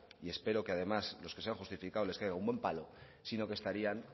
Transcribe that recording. y espero que además los que sean justificado les caiga un buen palo sino que estarían